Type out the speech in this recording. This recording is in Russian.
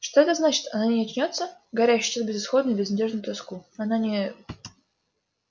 что это значит она не очнётся гарри ощутил безысходную безнадёжную тоску она не